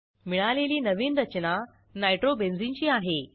मिळालेली नवीन रचना नायट्रोबेन्झिनची आहे